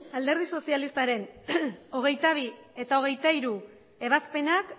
alderdi sozialistaren hogeita bi eta hogeita hiru ebazpenak